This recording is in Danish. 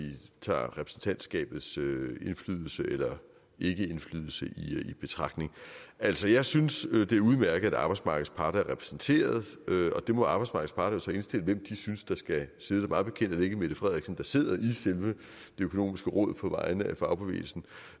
tager repræsentantskabets indflydelse eller ikkeindflydelse i betragtning altså jeg synes det er udmærket at arbejdsmarkedets parter er repræsenteret og der må arbejdsmarkedets parter indstille hvem de synes der skal sidde der mig bekendt er det ikke mette frederiksen der sidder i selve det økonomiske råd på vegne af fagbevægelsen